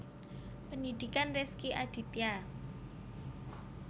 Pendhidhikan Rezky Aditya